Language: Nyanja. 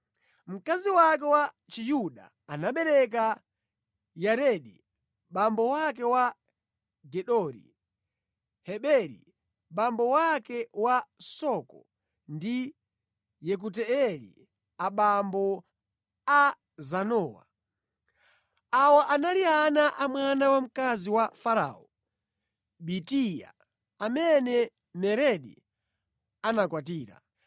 (Mkazi wake wa Chiyuda anabereka Yaredi abambo ake a Gedori, Heberi abambo ake a Soko ndi Yekutieli abambo a Zanowa). Awa anali ana a mwana wamkazi wa Farao, Bitia, amene Meredi anakwatira.